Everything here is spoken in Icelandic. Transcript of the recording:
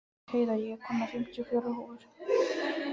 Heiða, ég kom með fimmtíu og fjórar húfur!